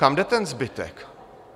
Kam jde ten zbytek?